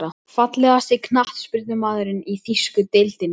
Fallegasti knattspyrnumaðurinn í þýsku deildinni?